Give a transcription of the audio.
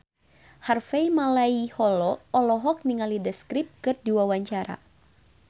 Harvey Malaiholo olohok ningali The Script keur diwawancara